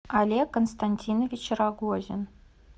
олег константинович рогозин